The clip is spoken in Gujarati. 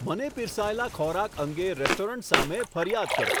મને પીરસાયેલા ખોરાક અંગે રેસ્ટોરન્ટ સામે ફરિયાદ કરો